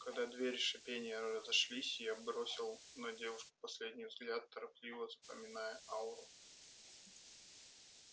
когда двери с шипением разошлись и я бросил на девушку последний взгляд торопливо запоминая ауру